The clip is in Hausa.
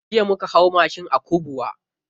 Jiya muka hau mashi a Kubwa.